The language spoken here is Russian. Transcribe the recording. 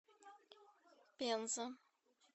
пенза